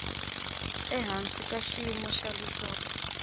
ehansi ka xiyimo xa leswaku